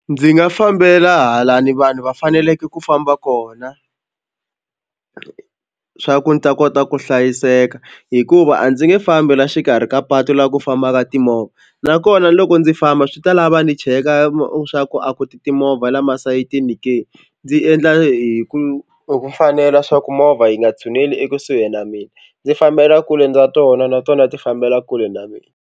Ndzi nga fambela halani vanhu va faneleke ku famba kona swa ku ni ta kota ku hlayiseka hikuva a ndzi nge fambi la xikarhi ka patu laha ku fambaka timovha nakona loko ndzi famba swi ta lava ni cheka swa ku a ku ti timovha la masayitini ke. Ndzi endla hi ku fanela swa ku movha yi nga tshuneli ekusuhi na mina ndzi fambela kule ndza tona na tona ti fambela kule na mina.